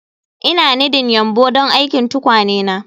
Ina nidding yumbu don aikin tukwane na